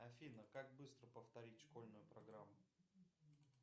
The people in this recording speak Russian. афина как быстро повторить школьную программу